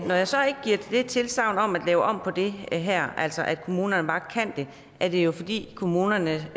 når jeg så ikke giver det tilsagn om at lave om på det her altså at kommunerne bare kan det er det jo fordi kommunernes